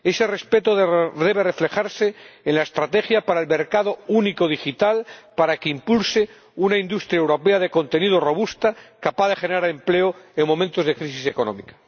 Ese respeto debe reflejarse en la estrategia para el mercado único digital, para que impulse una industria europea de contenidos robusta, capaz de generar empleo en momentos de crisis económica.